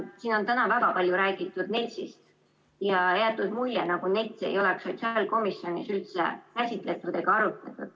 Siin on täna väga palju räägitud NETS‑ist ja jäetud mulje, nagu NETS‑i ei oleks sotsiaalkomisjonis üldse käsitletud ega arutatud.